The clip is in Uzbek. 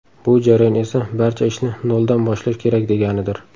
Bu jarayon esa barcha ishni noldan boshlash kerak deganidir.